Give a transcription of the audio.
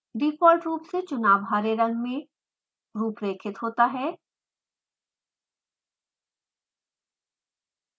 default रूप से चुनाव हरे रंग में रूपरेखित होता है